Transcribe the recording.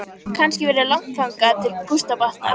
Kannski verður langt þangað til Gústa batnar.